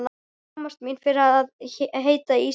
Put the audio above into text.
Ég skammast mín fyrir að heita Ísbjörg.